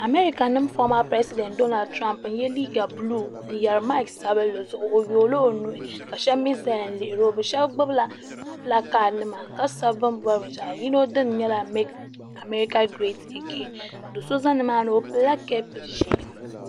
Amarika nima foma piresidenti donaltirompi n ye liiga buluu n yeri maaki sabinli zuɣu o yoogila o nuhi ka sheba mee zaya n lihiri o sheba gbibila pilakadi nima ka sabi bini bori binshaɣu yino dini nyɛla mek amarika giret agen do'so za nimaani o pilila kapu ʒee.